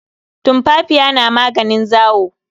Tumfafiya na maganin zawo.